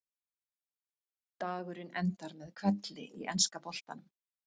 Dagurinn endar með hvelli í enska boltanum.